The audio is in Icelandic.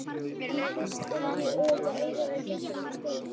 En fyrst yrði ég auðvitað að eyðileggja þennan stól.